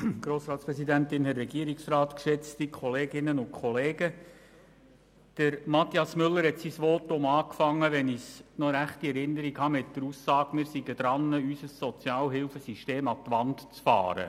Wenn ich mich recht erinnere, hat Mathias Müller sein Votum mit der Aussage begonnen, wir seien daran, unser Sozialhilfesystem an die Wand zu fahren.